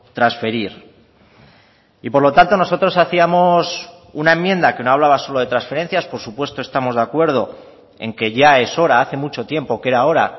transferir y por lo tanto nosotros hacíamos una enmienda que no hablaba solo de transferencias por supuesto estamos de acuerdo en que ya es hora hace mucho tiempo que era hora